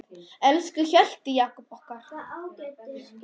Elsku Hjalti Jakob okkar.